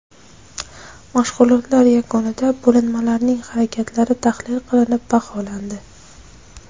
Mashg‘ulotlar yakunida bo‘linmalarning harakatlari tahlil qilinib, baholandi.